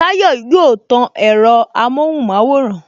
Tayọ yóò tan ẹ̀rọ amohun maworan